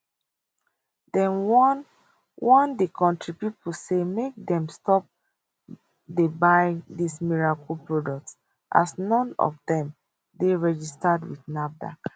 dem warn warn di kontri pipo say make dem stop dey buy dis miracle products as none of dem dey registered wit nafdac